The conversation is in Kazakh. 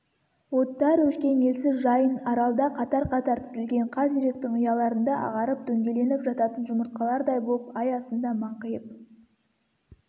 оттар өшкен елсіз жайын аралда қатар-қатар тізілген қаз үйректің ұяларында ағарып дөңгеленіп жататын жұмыртқалардай боп ай астында маңқиып